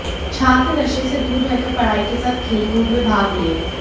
छात्र नशे से दूर रहकर पढ़ाई के साथ खेलकूद में भाग लें